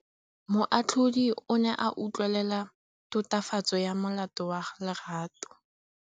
Moatlhodi o ne a utlwelela tatofatsô ya molato wa Lerato.